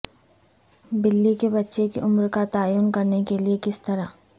بلی کے بچے کی عمر کا تعین کرنے کے لئے کس طرح